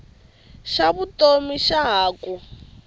xa vutomi xa ha ku